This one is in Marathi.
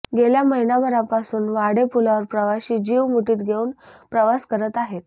गेल्या महिनाभरापासून वाढे पुलावर प्रवाशी जीव मुठीत घेवून प्रवास करत आहेत